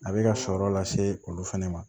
A bɛ ka sɔrɔ lase olu fana ma